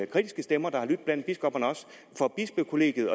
kritiske stemmer der har lydt blandt biskopperne for bispekollegiet